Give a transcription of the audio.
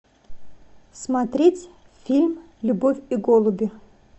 смотреть фильм любовь и голуби